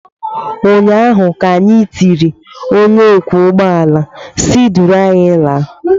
ụnyaahụ ka anyị tiri ,onye ọkwọ ụgbọ mmiri si duru anyị laa!